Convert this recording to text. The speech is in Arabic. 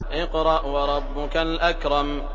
اقْرَأْ وَرَبُّكَ الْأَكْرَمُ